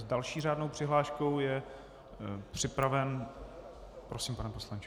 S další řádnou přihláškou je připraven - prosím, pane poslanče.